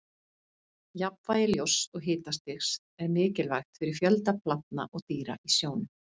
jafnvægi ljóss og hitastigs er mikilvægt fyrir fjölda plantna og dýra í sjónum